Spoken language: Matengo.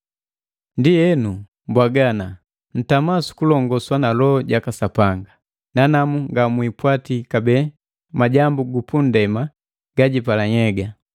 Ndienu, mbwaga ana: Ntama sukulonguswa na Loho jaka Sapanga, nanamu ngamwipwati kabee majambu gupunndema gajipala nhyega.